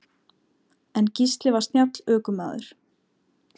En Gísli var snjall ökumaður.